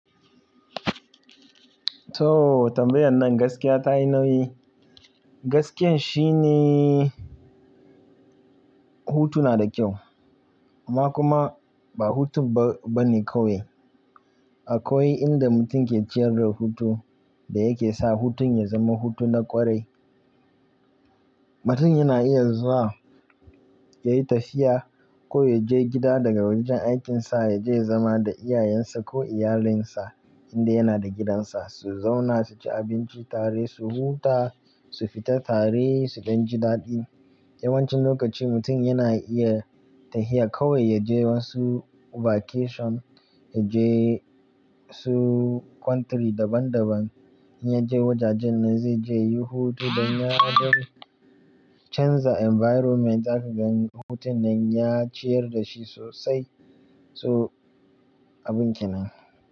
To tambayan nan gaskiya tayi nauyi. Gaskiyan shi ne hutu na da kyau amma kuma ba hutun ba ne kawai. Akwai inda mutum ke ciyar da hutu da yake sa hutun ya zama hutu na ƙwarai. Mutum yana iya zuwa yayi tafiya ko yaje gida daga wajen aikin sa yaje ya zama da iyayen sa ko iyalinsa inda yana da gidansa su zauna su ci abinci tare, su huta, su fita tare su ɗan ji daɗi. Yawancin lokaci mutum yana iya tafiya kawai yaje wasu vacation, yaje wasu country daban daban, in ya je wajajen nan zai je yayi hutu dan ya canza environment za ka gani hutun nan ya ciyar da shi sosai. To abun ke nan.